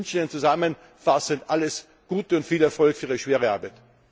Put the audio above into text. Ich wünsche Ihnen zusammenfassend alles Gute und viel Erfolg für Ihre schwere Arbeit.